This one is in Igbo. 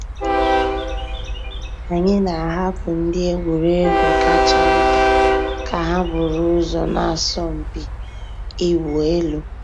Ányị́ nà-àhapụ́ ndị́ ègwùrégwú kàchà ntá kà hà búrú ụ́zọ́ nà àsọ̀mpị́ ị̀wụ́ èlú.